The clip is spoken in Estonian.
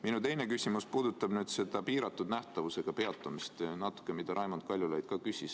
Minu teine küsimus puudutab natuke seda piiratud nähtavusega peatumist, mille kohta Raimond Kaljulaid küsis.